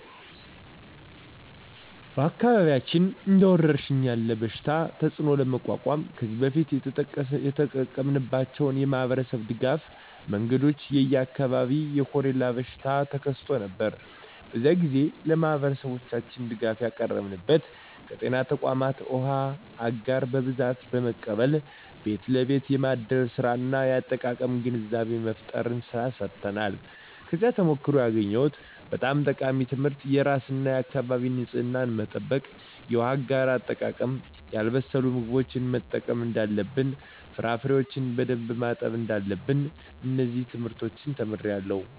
በአካባቢያችን እንደ ወረርሽኝ ያለ የበሽታ ተፅእኖ ለመቋቋም ከዚህ በፊት የተጠቀምንባቸው የማኅበረሰብ ድጋፍ መንገዶች የ የኛ አካባቢ የኮሬላ በሽታ ተከስቶ ነበር። በዚያ ግዜ ለማህበረሠባችን ድጋፍ ያቀረብንበት ከጤና ተቋማት ዉሃ አጋር በብዛት በመቀበል ቤት ለቤት የማደል ስራ እና የአጠቃቀም ግንዛቤ መፍጠር ስራ ሰርተናል። ከዚያ ተሞክሮ ያገኘሁት በጣም ጠቃሚ ትምህርት የራስን እና የአካቢን ንፅህና መጠበቅ፣ የውሃ አጋር አጠቃቀም፣ ያልበሰሉ ምግቦችን መጠቀም እደለለብን፣ ፍራፍሬዎችን በደንብ ማጠብ እዳለብን። እነዚን ትምህርቶች ተምሬአለሁ።